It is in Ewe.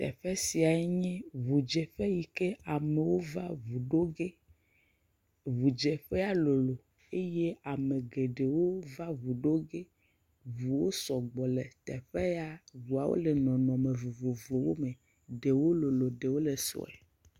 Teƒe sia nue ŋu dzeƒe yike amewo va ŋu ɖo ƒe. Ŋu dzeƒea lolo eye ame geɖewo va ŋu ɖo ge. Ŋuwo sɔgbɔ le teƒe ya, ŋuawo le nɔnɔme vovovowo me. Ɖewo lolo, ɖewo le sɔe.